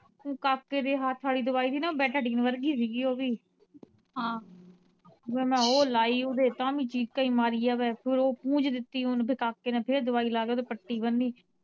ਕਾਕੇ ਦੇ ਹੱਥ ਵਾਲੀ ਦਵਾਈ ਹੀ ਨਾ ਬੇਟਾਡੀਨ ਵਰਗੀ ਸੀ ਗੀ ਓਵੀ ਫਿਰ ਮੈ ਉਹ ਲਾਈ ਊ ਤੇ ਤਾ ਵੀ ਚੀਕਾਂ ਈ ਮਾਰੀ ਜਾਵੇ ਫਿਰ ਉਹ ਪੂੰਜ ਦਿੱਤੀ ਹੁਣ ਤੇ ਕਾਕੇ ਨੇ ਫਿਰ ਦਵਾਈ ਲਾ ਕੇ ਉੱਤੇ ਪੱਟੀ ਬੰਨੀ।